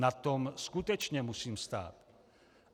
Na tom skutečně musím stát.